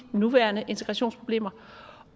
nuværende integrationsproblemer